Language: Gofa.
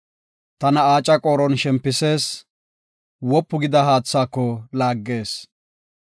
Tana aaca qooron shempisees; wopu gida haathaako laaggees.